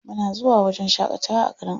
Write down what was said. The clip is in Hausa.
Muna zuwa wajen shaƙatawa a garin Abuja.